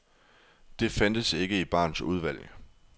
Det fandtes ikke i barens udvalg.